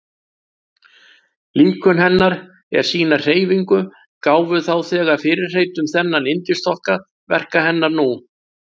Líkön hennar er sýna hreyfingu gáfu þá þegar fyrirheit um þennan yndisþokka verka hennar nú.